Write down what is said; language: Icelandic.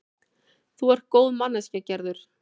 Þú ert góð manneskja, Gerður.